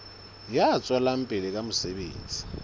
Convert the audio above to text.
ya tswelang pele ka mosebetsi